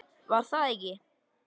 Var það ekki?